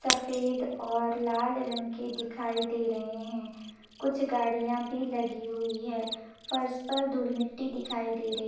सफेद और लाल रंग के दिखाई दे रहे हैं कुछ गाड़ियां भी लगी हुई है फर्श पर धूल मिट्टी दिखाई दे रही--